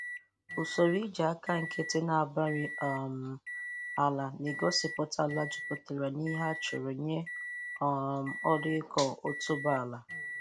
Usoroiji aka nkịtị na-abari um ala na-egosịpụta ala jupụtara n'ihe a chọrọ nye um ọrụ ịkọ otubu ala.